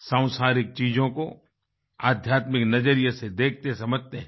सांसारिक चीज़ों को आध्यात्मिक नज़रिए से देखतेसमझते हैं